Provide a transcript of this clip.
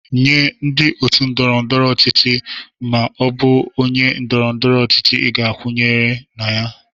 Nye ndị otu ndọrọ ndọrọ ọchịchị ma ọ bụ onye ndoro-ndoro ochichi ị ga-ekwenye na ya.